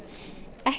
ekki